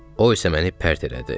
O isə məni pərt elədi.